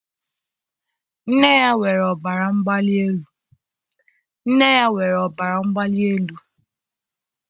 Nne ya nwere ọbara mgbali elu.